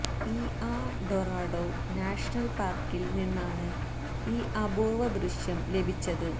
ഇആ Dorado national പാര്ക്കില് നിന്നാണ് ഈ അപൂര്വ്വ ദൃശ്യം ലഭിച്ചത്